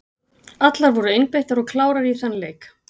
Allar voru einbeittar og klárar í þann leik.